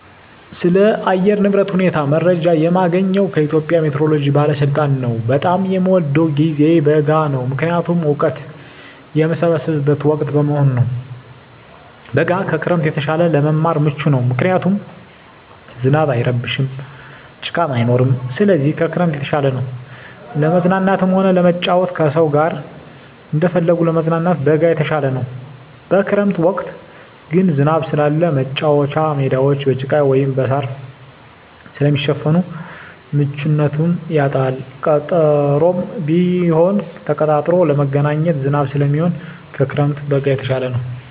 ስለ አየር ንብረት ሁኔታ መረጃ የማገኘዉ ከኢትዮጵያ ሜትሮሎጂ ባለስልጣን ነዉ። በጣም የምወደዉ ጊዜ በጋ ነዉ ምክንያቱም እወቀት የምሰበስብበት ወቅት በመሆኑ ነዉ። በጋ ከክረምት የተሻለ ለመማር ምቹ ነዉ ምክንያቱም ዝናብ አይረብሽም ጭቃም አይኖርም ስለዚህ ከክረምት የተሻለ ነዉ። ለመዝናናትም ሆነ ለመጫወት ከሰዉ ጋር እንደፈለጉ ለመገናኘት በጋ የተሻለ ነዉ። በክረምት ወቅት ግን ዝናብ ስላለ መቻወቻ ሜዳወች በጭቃ ወይም በእሳር ስለሚሸፈን ምቹነቱን ያጣል ቀጠሮም ቢሆን ተቀጣጥሮ ለመገናኘት ዝናብ ስለሚሆን ከክረምት በጋ የተሻለ ነዉ።